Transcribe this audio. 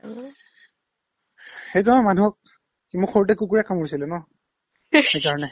সেইতো আমাৰ মানুহক কি মোক সৰুতে কুকুৰে কামুৰিছিলে ন সেইকাৰণে